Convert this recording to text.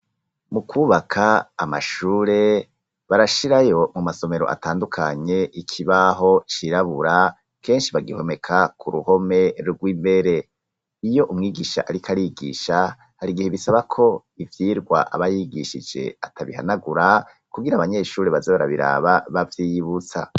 Mu kwubaka amashure barashirayo mu masomero atandukanye, ikibaho cirabura, kenshi bagihomeka k'uruhome rw'imbere. Iyo umwigisha ariko arigisha, har'igihe bisabako ivyigwa aba yigishije atabihanagura, kugira abanyeshure baze barabiraba bavyiyibutsa.